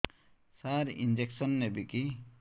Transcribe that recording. ସାର injection ନେବିକି